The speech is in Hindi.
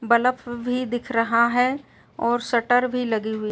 बलफ़ भी दिख रहा है और शटर भी लगी हुई --